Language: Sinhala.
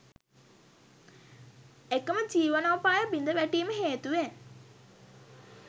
එකම ජීවනෝපාය බිඳවැටීම හේතුවෙන්